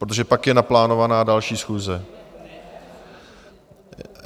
Protože pak je naplánovaná další schůze.